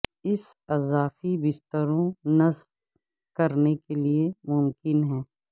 اس اضافی بستروں نصب کرنے کے لئے ممکن ہے